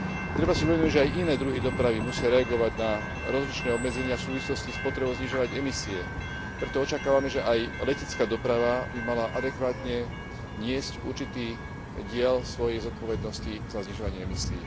Treba si uvedomiť, že aj iné druhy dopravy musia reagovať na rozličné obmedzenia v súvislosti s potrebou znižovať emisie, preto očakávame, že aj letecká doprava by mala adekvátne niesť určitý diel svojej zodpovednosti za znižovanie emisií.